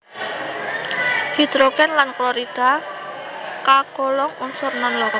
Hidrogen lan klorida kagolong unsur non logam